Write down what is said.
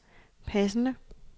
passende